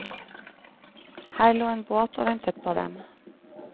Her lå en båt og ventet på dem.